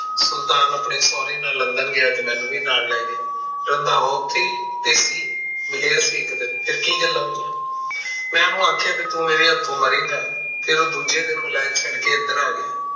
ਸੁਲਤਾਨ ਆਪਣੇ ਸਹੁਰੇ ਨਾਲ london ਗਿਆ ਤੇ ਮੈਨੂੰ ਵੀ ਨਾਲ ਲੈ ਗਿਆ। ਰੰਧਾਵਾ ਓਥੇ ਹੀ ਤੇ ਸੀ ਮਿਲਿਆ ਸੀ ਇੱਕ ਦਿਨ, ਫਿਰ ਕੀ ਗੱਲਾਂ ਹੋਈਆਂ? ਮੈਂ ਓਹਨੂੰ ਆਖਿਆ ਤੂੰ ਮੇਰੇ ਹੱਥੋਂ ਮਰੇਗਾ ਤੇ ਉਹ ਦੂਜੇ ਦਿਨ ਵੈਲਤ ਛੱਡ ਕੇ ਐਦਰ ਆ ਗਿਆ।